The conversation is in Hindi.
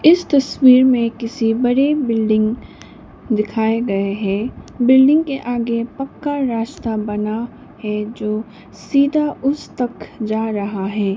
इस तस्वीर में किसी बड़े बिल्डिंग दिखाए गए है बिल्डिंग के आगे पक्का रास्ता बना है जो सीधा उस तक जा रहा है।